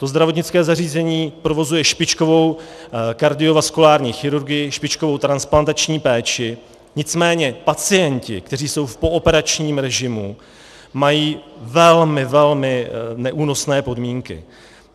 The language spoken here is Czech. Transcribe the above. To zdravotnické zařízení provozuje špičkovou kardiovaskulární chirurgii, špičkovou transplantační péči, nicméně pacienti, kteří jsou v pooperačním režimu, mají velmi, velmi neúnosné podmínky.